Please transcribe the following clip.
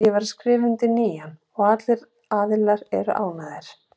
Ég var að skrifa undir nýjan og allir aðilar eru ánægðir.